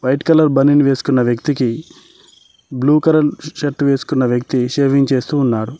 Red colour బనీన్ వేస్కున్నా వ్యక్తి కి బ్లూ కలర్ షర్ట్ వేస్కున్నా వ్యక్తి షేవింగ్ చేస్తూ ఉన్నారు.